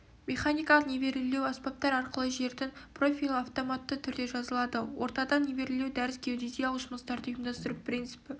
механикалық нивелирлеу аспаптар арқылы жердің профилі автоматты түрде жазылады ортадан нивелирлеу дәріс геодезиялық жұмыстарды ұйымдастыру принципі